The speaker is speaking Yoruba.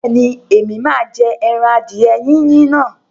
Bẹ́ẹ̀ni, Ẹ̀mí máa jẹ ẹran adìẹ yíyin náà.